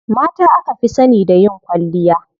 Mata aka fi sani da yin kwalliya.